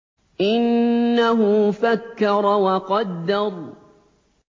إِنَّهُ فَكَّرَ وَقَدَّرَ